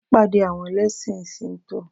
Wàá pàdé àwọn ẹlẹ́ṣìn síńtọ̀